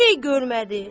Bir şey görmədi.